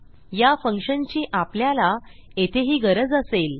या फंक्शनची आपल्याला येथेही गरज असेल